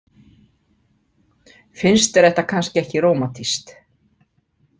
Finnst þér þetta kannski ekki rómantískt?